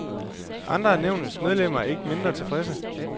Andre af nævnets medlemmer er mindre tilfredse.